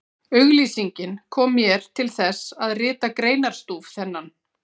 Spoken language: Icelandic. Auglýsingin kom mér til þess, að rita greinarstúf þennan.